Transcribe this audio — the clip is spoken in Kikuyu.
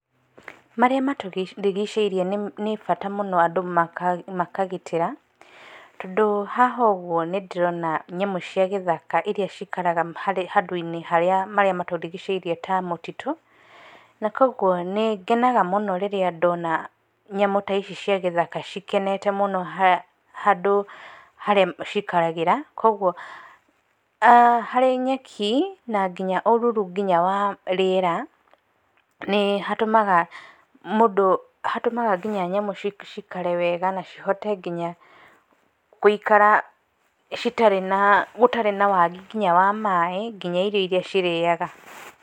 Marĩa matũrigicĩirie, nĩ, nĩbata mũno andũ maka, makagitĩra, tondũ hahoguo nĩndĩrona nyamũ cia gĩthaka iria cikaraga harĩ, handũinĩ harĩa marĩa matũrigicĩirie ta mũtitũ, na kwoguo nĩngenaga mũno rĩrĩa ndona nyamũ ta ici cia gĩthaka cikenete mũno ha, handũ harĩa cikaragĩra, kwoguo aah harĩ nyeki na nginya ũruru nginya wa rĩera, nĩ hatũmaga mũndũ ha, nĩhatũmaga nginya nyamũ cikare wega na cihote nginya, gũikara citarĩ na mũ citarĩ nginya wagi wa maĩ, nginya irio iria cirĩaga.